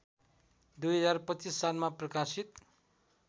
२०२५ सालमा प्रकाशित